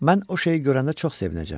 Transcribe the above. Mən o şeyi görəndə çox sevinəcəyəm.